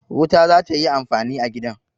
Wuta za ta yi amfani a gidan.